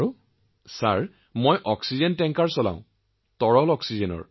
মহোদয় মই অক্সিজেনৰ টেংকাৰ চলাও তৰল অক্সিজেনৰ